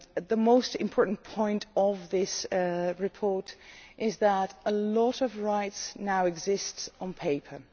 The most important point of this report is that a lot of rights now exist on paper.